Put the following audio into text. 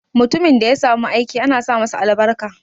Mutumin da ya samu aiki ana sa masa albarka.